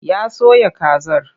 Ya soya kazar.